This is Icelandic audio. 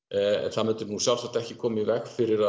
það myndi sjálfsagt ekki koma í veg fyrir